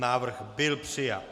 Návrh byl přijat.